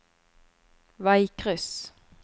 veikryss